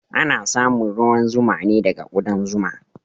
Ana samun ruwan zuma ne daga ƙudan zuma